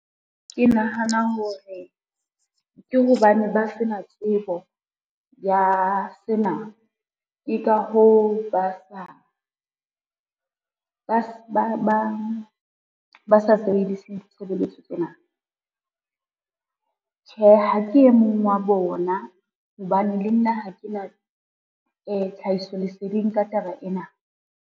Ke nahana hore, ke hobane ba se na tsebo ya sena, ke ka hoo ba sa sebedise ditshebeletso tsena. Tjhe ha ke e mong wa bona, hobane le nna ha ke na tlhahiso leseding ka taba ena.